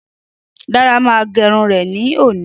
Dáre ma gérun ré ní òní